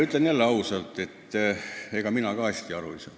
Ütlen jälle ausalt, et ega mina ka hästi aru ei saa.